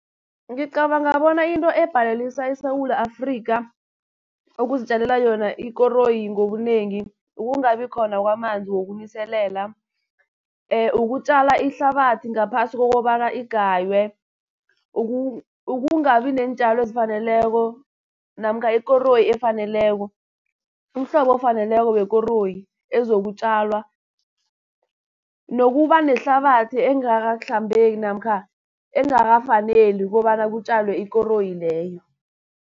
Ngicabanga bona into ebhalelisa iSewula Afrikha, ukuzitjalela yona ikoroyi ngobunengi, ukungabi khona kwamanzi wokuniselela, ukutjala ihlabathi ngaphasi kokobana igaywe, ukungabi neentjalo ezifaneleko namkha ikoroyi efaneleko, umhlobo ofaneleko wekoroyi ezokutjalwa nokuba nehlabathi engakahlambeki namkha engakafaneli kobana kutjalwe ikoroyi leyo.